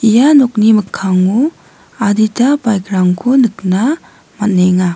ia nokni mikkango adita bike-rangko nikna man·enga.